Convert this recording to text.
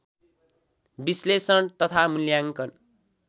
विश्लेषण तथा मूल्याङ्कन